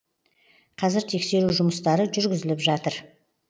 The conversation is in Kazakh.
қазір тексеру жұмыстары жүргізіліп жатыр